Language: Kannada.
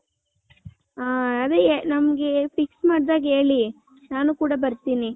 ಹ ಅದೇ ನಮ್ಮಗೆ fix ಮಾಡ್ದಗ್ ಹೇಳಿ ನಾನು ಕೂಡ ಬರ್ತೀನಿ .